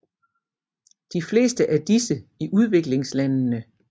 De fleste af disse i udviklingslandene